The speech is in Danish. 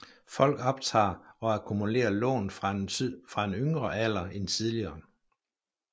Folk optager og akkumulerer lån fra en yngre alder end tidligere